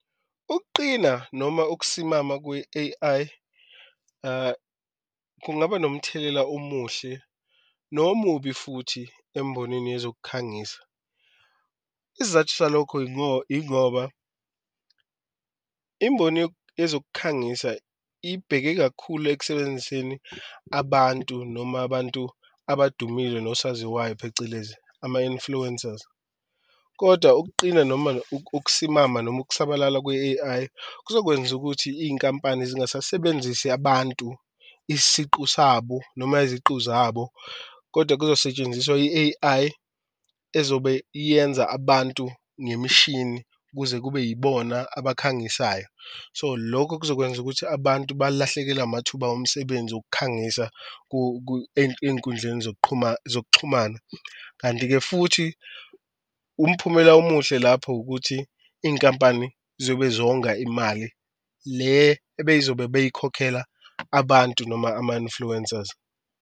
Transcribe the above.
Ukuqina noma ukusimama kwe-A_I kungaba nomthelela omuhle nomubi futhi embonini yezokukhangisa, isizathu salokho ingoba imboni yezokukhangisa ibheke kakhulu ekusebenziseni abantu noma abantu abadumile nosaziwayo, phecelezi ama-influencers. Kodwa ukuqina noma ukusimama noma ukusabalala kwe-A_I kuzokwenza ukuthi iy'nkampani zingasasebenzisi abantu isiqu sabo noma iziqu zabo kodwa kuzosetshenziswa i-A_I ezobe yenza abantu ngemishini ukuze kube yibona abakhangisayo. So, lokho kuzokwenza ukuthi abantu balahlekelwe amathuba omsebenzi okukhangisa ey'nkundleni zokuxhumana, kanti-ke futhi umphumela omuhle lapho ukuthi inkampani ziyobe zonga imali, le ebeyizobe beyikhokhela abantu noma ama-influencers.